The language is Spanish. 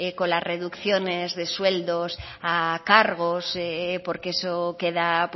con la reducciones de sueldos a cargos porque eso queda